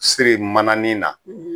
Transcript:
Siri manani na